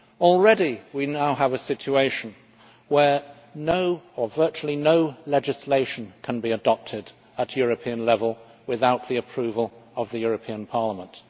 Already we now have a situation where no or virtually no legislation can be adopted at European level without the approval of the European Parliament.